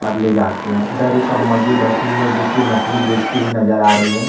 और ले जाते है इधर एक अम्मा जी बैठी हुई है जो कि मछली बेचती हुई नजर आ रही है।